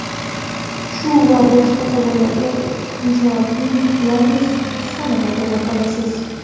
Shu va boshqa savollarga Inshoot’ning yangi sonida javob olasiz.